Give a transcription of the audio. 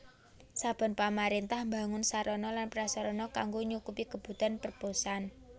Saben pamaréntah mbangun sarana lan prasarana kanggo nyukupi kebutuhan perposan